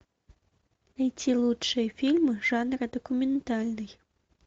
найти лучшие фильмы жанра документальный